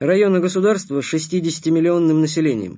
районы государство шестидесяти миллионным населением